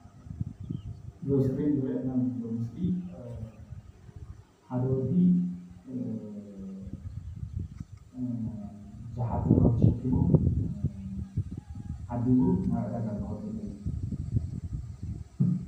እዚ ዝረአየና ዘሎ ምስሊ፤ ሓደ ወዲ ብዙሓት ደርሁ ተሸኪሙ ናብ ዕዳጋ እናኸደ እዩ።